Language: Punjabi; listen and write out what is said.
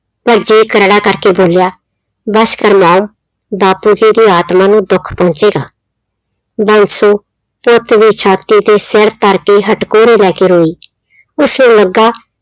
ਪਰ ਜੀਅ ਕਰੜਾ ਕਰਕੇ ਬੋਲਿਆ, ਬਸ ਕਰ ਮਾਂ ਬਾਪੂ ਜੀ ਦੀ ਆਤਮਾ ਨੂੰ ਦੁੱਖ ਪਹੁੰਚੇਗਾ, ਬਾਂਸੋ ਪੁੱਤ ਦੀ ਛਾਤੀ ਤੇ ਸਿਰ ਧਰ ਕੇ ਹਟਕੋਰੇ ਲੈ ਕੇ ਰੋਈ, ਉਸਨੂੰ ਲੱਗਾ